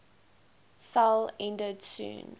fell ended soon